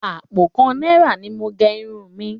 Àpò kan náírà ni mo gẹ irun mi